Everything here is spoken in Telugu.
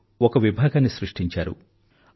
ఇన్ లో ఒక విభాగాన్ని సృష్టించారు